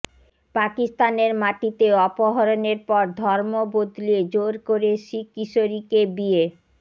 পাকিস্তানের মাটিতে অপহরণের পর ধর্ম বদলিয়ে জোর করে শিখ কিশোরীকে বিয়ে